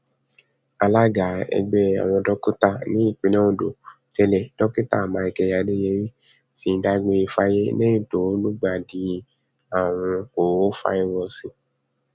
alága ẹgbẹ àwọn dókítà nípìnlẹ ondo tẹlẹ dókítà michael adeyeri ti dágbére fáyé lẹyìn tó lùgbàdì àrùn korofairósósì